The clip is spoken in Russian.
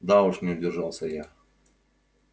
да уж не удержался я